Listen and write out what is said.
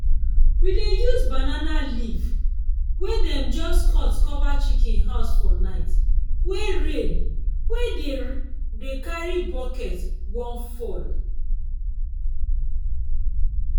we dey use banana leaf wey dem just cut cover chicken house for night wey rain wey dey dey carry bucket wan fall.